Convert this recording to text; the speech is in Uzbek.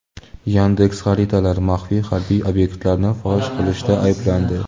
"Yandeks.Xaritalar" maxfiy harbiy obyektlarni fosh qilishda ayblandi.